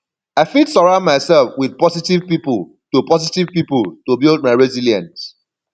i fit surround myself with positive people to positive people to build my resilience